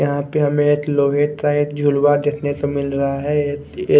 यहाँ पर हमे एक लोहे का एक झुलवा देखने को मिल रहा है एक ऐ--